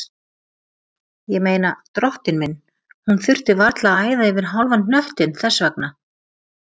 Ég meina, drottinn minn, hún þurfti varla að æða yfir hálfan hnöttinn þess vegna.